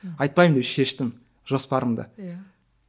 айтпаймын деп шештім жоспарымды иә